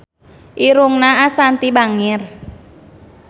Irungna Ashanti bangir